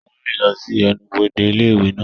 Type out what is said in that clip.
Ó ń rìn lọ sí ẹnubodè ilé ìwé náà.